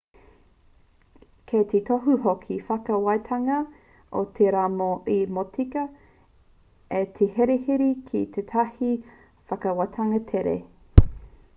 kei te tohu hoki te whakawātanga i te rā mō te motika a te herehere ki tētahi whakawātanga tere